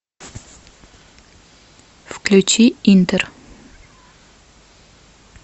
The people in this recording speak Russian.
включи интер